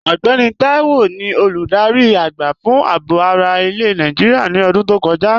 Ọgbẹ́nì Táíwò ni olúdárí agba fun àábò ara ilẹ̀ Nàìjíríà ní ọ̀dún tó kọja.